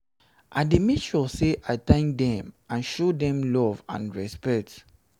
i dey make sure say i thank dem and show dem love and respect.